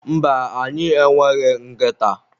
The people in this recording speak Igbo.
mba, anyị e nweghị nkịta